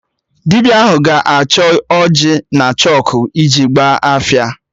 Dibịa ahụ ga-achọ ọjị na chọkụ iji Ịgba afa